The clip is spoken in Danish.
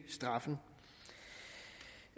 straffen